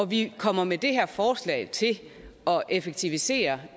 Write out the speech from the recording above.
vi kommer med det her forslag til at effektivisere